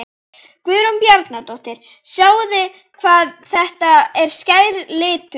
Guðrún Bjarnadóttir: Sjáið hvað þetta er skær litur?